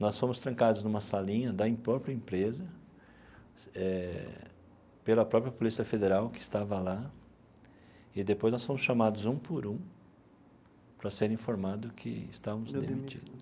Nós fomos trancados numa salinha da própria empresa, eh pela própria Polícia Federal que estava lá, e depois nós fomos chamados um por um para serem informados que estávamos demitidos.